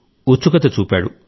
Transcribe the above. ఉత్సుకత చూపాడు